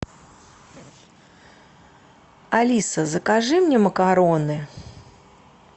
алиса закажи мне макароны